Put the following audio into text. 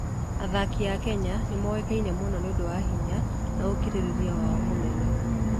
Athaki a Kenya nĩ moĩkaine mũno nĩ ũndũ wa hinya na ũkirĩrĩria wao mũnene.